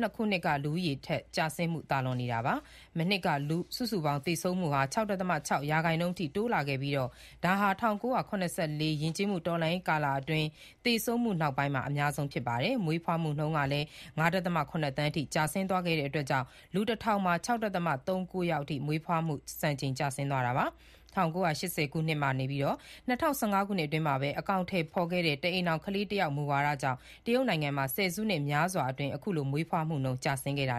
၂ ခုနှစ် လူဦးရေတိုးပွားတဲ့နှုန်း ကျဆင်းမှုက ပထမဆုံးအကြိမ် ကျော်လွန်သွားတာ ဖြစ်ပါတယ်။ မနှစ်က စုစုပေါင်း သေဆုံးမှုဟာ ၆.၆ ရာခိုင်နှုန်းအထိ တိုးလာခဲ့ပြီး၊ ဒါဟာ ၁၉၇၄ ယဉ်ကျေးမှု တော်လှန်ရေးကာလအတွင်း သေဆုံးမှုနောက်ပိုင်း အများဆုံးဖြစ်တယ်လို့ ဆိုပါတယ်။ မွေးဖွားမှုနှုန်းကလည်း ၅.၇ သန်းအထိ ကျဆင်းသွားခဲ့တာကြောင့် လူ ၁,၀၀၀ မှာ ၆.၃၉ ယောက်အထိ မွေးဖွားမှု စံချိန်တင် ကျဆင်းသွားတာပါ။ ၁၉၈၀ ခုနှစ်ကနေ ၂၀၁၅ ခုနှစ်အတွင်းမှာ အကောင်အထည်ဖော်ခဲ့တဲ့ တအိမ်ထောင် ခလေးတယောက် မူဝါဒကြောင့် တရုတ်နိုင်ငံမှာ ဆယ်စုနှစ်များစွာအတွင်း အခုလို ကလေးမွေးဖွားမှုနှုန်း ကျဆင်းခဲ့တာ